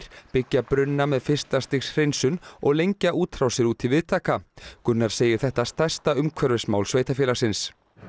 byggja brunna með fyrsta stigs hreinsun og lengja útrásir út í viðtaka Gunnar segir þetta stærsta umhverfismál sveitarfélagsins